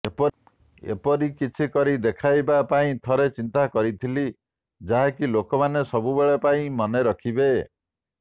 ଏପରି କିଛି କରି ଦେଖାଇବା ପାଇଁ ଥରେ ଚିନ୍ତା କରିଥିଲି ଯାହାକି ଲୋକମାନେ ସବୁବେଳ ପାଇଁ ମନେ ରଖିବେ